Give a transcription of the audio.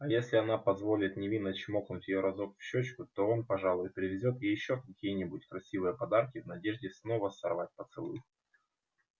а если она позволит невинно чмокнуть её разок в щёчку то он пожалуй привезёт ей ещё какие-нибудь красивые подарки в надежде снова сорвать поцелуй